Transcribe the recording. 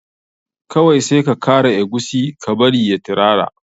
Kawai sai ka kara eguisi ka bari ya tirara.